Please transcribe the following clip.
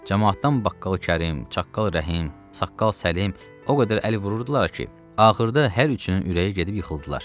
Camaatdan Baqqalı Kərim, Çağqalı Rəhim, Saqqal Səlim o qədər əl vururdular ki, axırda hər üçünün ürəyi gedib yıxıldılar.